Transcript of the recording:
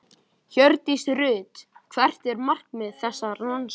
Hjördís Rut: Hvert er markmið þessarar rannsóknar?